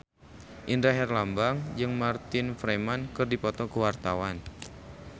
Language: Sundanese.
Indra Herlambang jeung Martin Freeman keur dipoto ku wartawan